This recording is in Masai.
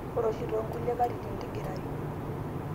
ore oshi too nkulie katitin tigirayu